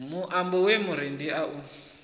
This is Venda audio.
muambo ye murendi a i